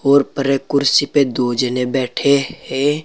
और परे कुर्सी पे दो जने बैठे है।